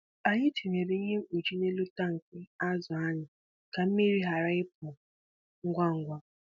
Anyị tinyere ihe mkpuchi n’elu tankị azụ anyị ka mmiri ghara ịpụ ngwa ngwa.